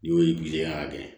N'o ye y'a kɛ